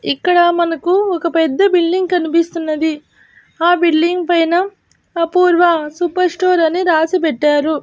ఇక్కడ మనకు ఒక పెద్ద బిల్డింగ్ కనిపిస్తున్నది. ఆ బిల్డింగ్ పైన అపూర్వ సూపర్ స్టోర్ అని రాసి పెట్టారు.